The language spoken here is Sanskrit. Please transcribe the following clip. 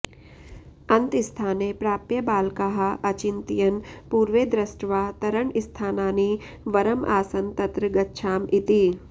अन्तस्थाने प्राप्य बालकाः अचिन्तयन् पुर्वेदृष्ट्वा तरणस्थानानि वरम् आसन् तत्र गच्छाम इति